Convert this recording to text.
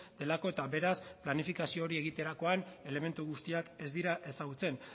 delako eta beraz planifikazio hori egiterakoan elementu guztiak ez dira ezagutzen